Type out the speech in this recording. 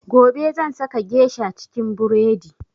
Gobe zan saka geisha cikin buredi